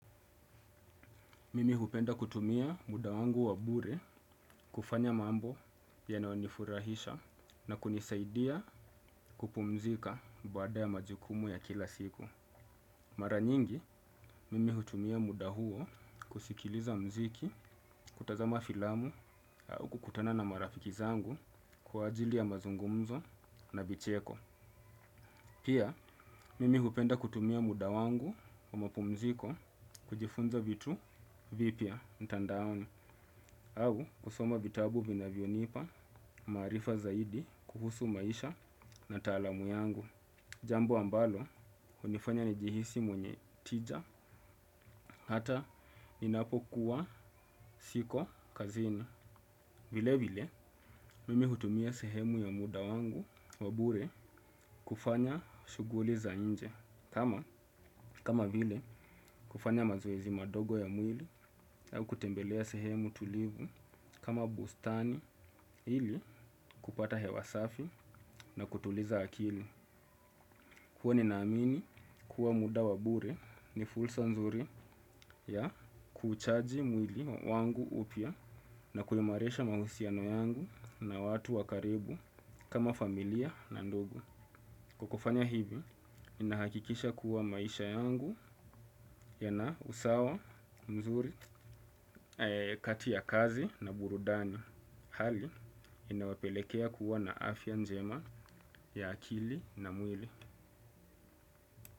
Mimi hupenda kutumia muda wangu wa bure kufanya mambo yanayonifurahisha na kunisaidia kupumzika baada ya majukumu ya kila siku. Mara nyingi, mimi hupenda kutumia muda huo kusikiliza muziki, kutazama filamu au kukutana na marafiki zangu kwa ajili ya mazungumzo na vicheko. Pia, mimi hupenda kutumia muda wangu wa mapumziko kujifunza vitu vipya mtandaani au kusoma vitabu vinavyonipa maarifa zaidi kuhusu maisha na taalamu yangu. Jambo ambalo, hunifanya nijihisi mwenye tija hata ninapokuwa siko kazini. Vile vile, mimi hutumia sehemu ya muda wangu wa bure kufanya shughuli za nje. Kama vile kufanya mazoezi madogo ya mwili au kutembelea sehemu tulivu kama bustani ili kupata hewa safi na kutuliza akili. Huwa ninaamini kuwa muda wa bure ni fursa nzuri ya kuchaji mwili wangu upya na kuimarisha mahusiano yangu na watu wa karibu kama familia na ndugu. Kwa kufanya hivi, ninahakikisha kuwa maisha yangu yana usawa mzuri kati ya kazi na burudani. Hali, inawepelekea kuwa na afya njema ya akili na mwili.